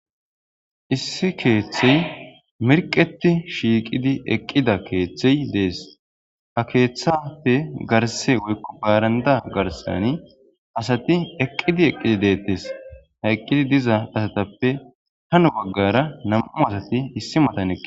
Issi keeththey mirqeti shiiqidi eqqida keeththey dees ha keeththafe garse woykko baaranda garsani asati eqqidi eqqidi deettes ha eqqidi diza asatappe hano baggara nam7u asati issi matan eqqi